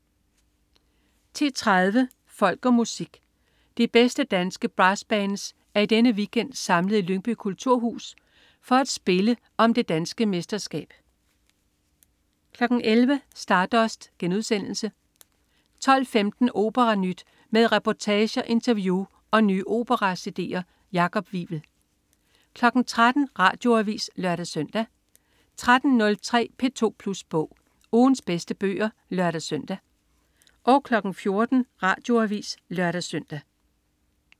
10.30 Folk og Musik. De bedste danske brassbands er i denne weekend samlet i Lyngby Kulturhus for at spille om det danske mesterskab 11.00 Stardust* 12.15 OperaNyt. Med reportager, interview og nye opera-cd'er. Jakob Wivel 13.00 Radioavis (lør-søn) 13.03 P2 Plus Bog. Ugens bedste bøger (lør-søn) 14.00 Radioavis (lør-søn)